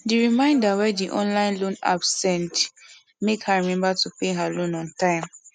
di reminder wey di online loan app send make her remember to pay her loan on time